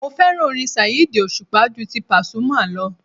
Mo fẹ́ràn orin Saheed òṣùpá ju ti Pasuma lọ